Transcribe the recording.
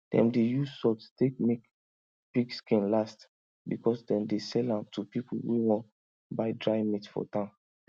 dem dey use salt take make pig skin last because dem dey sell am to pipu wey wan buy dry meat for town